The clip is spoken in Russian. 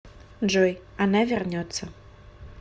джой она вернется